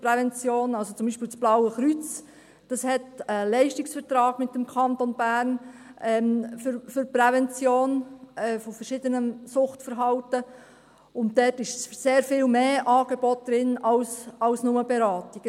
Also zum Beispiel das Blaue Kreuz, dieses hat einen Leistungsvertrag mit dem Kanton Bern für die Prävention von verschiedenen Suchtverhalten, und dort sind sehr viel mehr Angebote enthalten als nur Beratung.